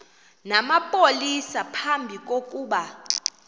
namapolisa phambi kokuba